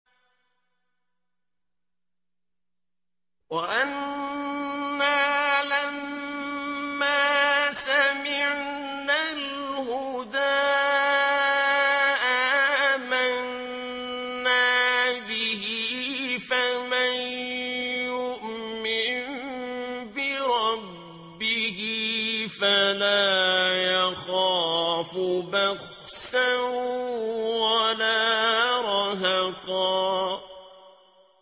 وَأَنَّا لَمَّا سَمِعْنَا الْهُدَىٰ آمَنَّا بِهِ ۖ فَمَن يُؤْمِن بِرَبِّهِ فَلَا يَخَافُ بَخْسًا وَلَا رَهَقًا